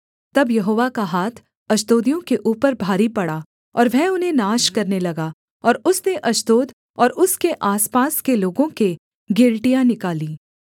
तब यहोवा का हाथ अश्दोदियों के ऊपर भारी पड़ा और वह उन्हें नाश करने लगा और उसने अश्दोद और उसके आसपास के लोगों के गिलटियाँ निकालीं